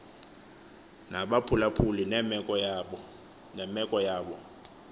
nabaphulaphuli nemeko yabo